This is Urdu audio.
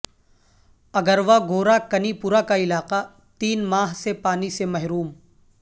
اگر واگورہ کنی پورہ کا علاقہ تین ماہ سے پانی سے محروم